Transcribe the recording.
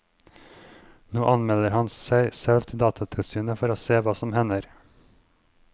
Nå anmelder han seg selv til datatilsynet for å se hva som hender.